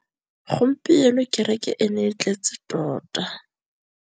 Gompieno kêrêkê e ne e tletse tota.